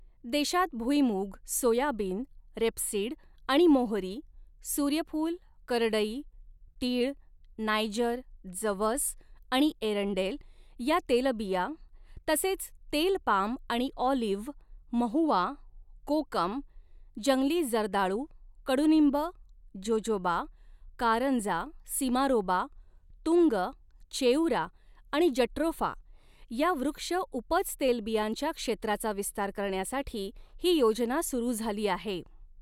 देशात भुईमूग, soybean, rapeseed आणि मोहरी, सूर्यफूल, करडई, तीळ, नायजर, जवस आणि एरंडेल या तेलबिया तसेच तेल पाम आणि ऑलिव्ह, महुआ, कोकम, जंगली जर्दाळू, कडुनिंब, जोजोबा, कारंजा, सिमारोबा, तुंग, चेउरा आणि जट्रोफा या वृक्ष उपज तेलबियांच्या क्षेत्राचा विस्तार करण्यासाठी ही योजना सुरू झाली आहे.